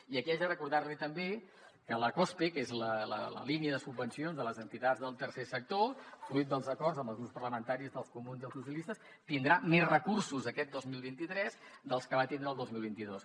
i aquí haig de recordar li també que la cospe que és la línia de subvencions de les entitats del tercer sector fruit dels acords amb els grups parlamentaris dels comuns i els socialistes tindrà més recursos d’aquest dos mil vint tres dels que va tindre el dos mil vint dos